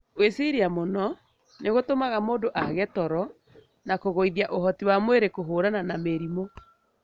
Gwiciria mũno nĩ gũtumaga mũndu aage toro na kũgũithia ũhoti wa mwĩrĩ kũhũrana na mĩrimũ.